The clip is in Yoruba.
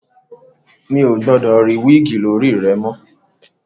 Mi ò gbọdọ̀ rí wíìgì lórí rẹ mọ̀!